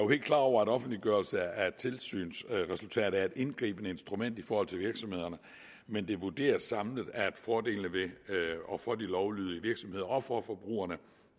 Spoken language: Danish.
helt klar over at offentliggørelse af et tilsynsresultat er et indgribende instrument i forhold til virksomhederne men det vurderes samlet at fordelene for de lovlydige virksomheder og for forbrugerne